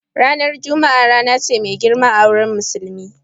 Ranar Juma'a rana ce mai girma a wurin Musulmi.